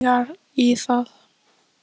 Ég hefði aldrei taugar í það